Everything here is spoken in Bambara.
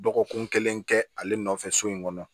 Dɔgɔkun kelen kɛ ale nɔfɛ so in kɔnɔ